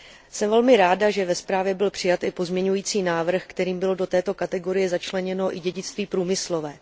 Jsem velmi ráda, že ve zprávě byl přijat i pozměňující návrh, kterým bylo do této kategorie začleněno i dědictví průmyslové.